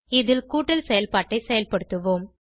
இதில் கூட்டல் செயல்பாட்டை செயல்படுத்துவோம்